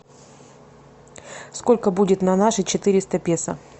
сколько будет на наши четыреста песо